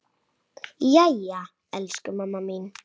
Jæja, elsku mamma mín.